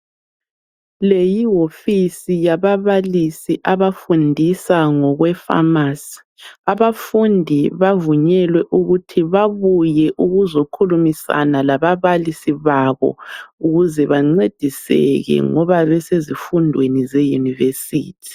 Le yihofisi yababalisi abafundisa ngokwe pharmacy. Abafundi bavunyelwe ukuthi babuye ukuzokhulumisana lababalisi babo ukuze bancediseke ngoba besezifundweni ze university.